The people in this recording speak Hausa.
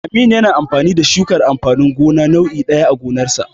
Aminu yana gabatar da shukar amfanin gona nau'i ɗaya a gonarsa.